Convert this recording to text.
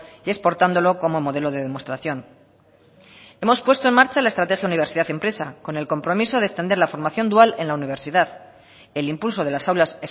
y exportándolo como modelo de demostración hemos puesto en marcha la estrategia universidad empresa con el compromiso de extender la formación dual en la universidad el impulso de las aulas